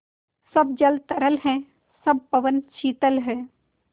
सब जल तरल है सब पवन शीतल है